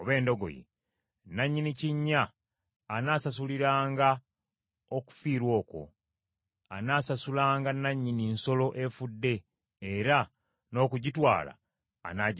nannyini kinnya anaasasuliranga okufiirwa okwo; anaasasulanga nannyini nsolo efudde, era n’okugitwala anaagitwalanga.